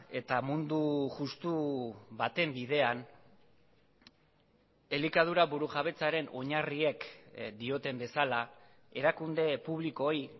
eta mundu justu baten bidean elikadura burujabetzaren oinarriek dioten bezala erakunde publikoei